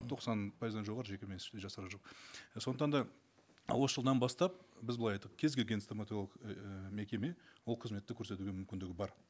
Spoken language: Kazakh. тоқсан пайызынан жоғары жекеменшік жасап жүр сондықтан да осы жылдан бастап біз былай айттық кез келген стоматологиялық ііі мекеме ол қызметті көрсетуге мүмкіндігі бар